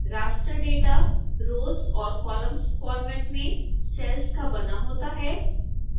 raster data rows और columns format में cells का बना होता है